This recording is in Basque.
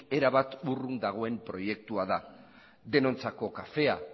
erabat urrun dagoen proiektua da denontzako kafea